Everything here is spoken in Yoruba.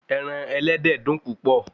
Ẹran ẹlẹ́dẹ̀ dùn púpọ̀